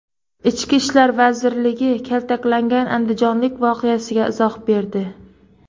Ichki ishlar vazirligi kaltaklangan andijonlik voqeasiga izoh berdi.